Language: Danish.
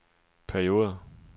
perioder